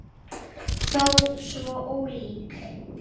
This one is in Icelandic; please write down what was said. Þó svo ólík.